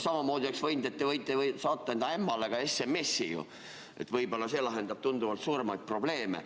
Samamoodi võite saata enda ämmale SMS-i, et võib-olla see lahendab tunduvalt suuremaid probleeme.